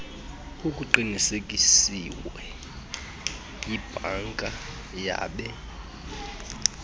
kuqinisekisiwe yibhanka yabe